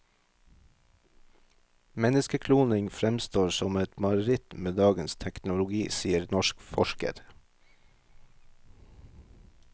Menneskekloning fremstår som et mareritt med dagens teknologi, sier norsk forsker.